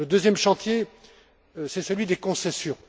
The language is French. Le deuxième chantier, c'est celui des concessions.